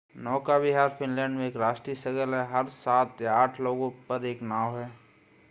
नौका विहार फिनलैंड में एक राष्ट्रीय शगल है हर सात या आठ लोगों पर एक नाव है